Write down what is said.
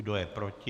Kdo je proti?